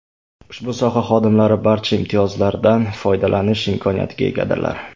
Ushbu soha xodimlari barcha imtiyozlardan foydalanish imkoniyatiga egadirlar.